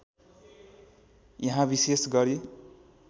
यहाँ विषेश गरी